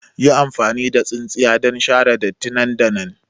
Yi amfani da tsintsiya don share datti nan da nan!